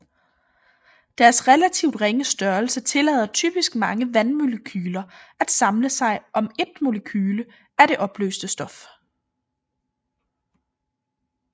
Deres relativt ringe størrelse tillader typisk mange vandmolekyler at samle sig om ét molekyle af det opløste stof